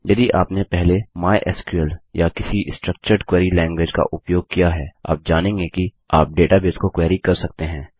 यदि आपने पहले माइस्क्ल या किसी स्ट्रक्चर्ड क्वेरी लैंगवेज का उपयोग किया है आप जानेंगे कि आप डेटाबेस को क्वेरी कर सकते हैं